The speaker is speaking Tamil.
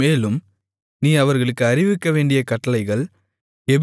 மேலும் நீ அவர்களுக்கு அறிவிக்கவேண்டிய கட்டளைகள்